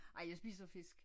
Ej jeg spiser fisk